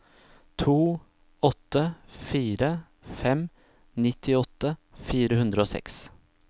to åtte fire fem nittiåtte fire hundre og seks